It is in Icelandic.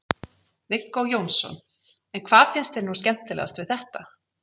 Viggó Jónsson: En hvað finnst þér nú skemmtilegast við þetta?